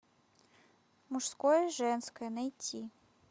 мужское женское найти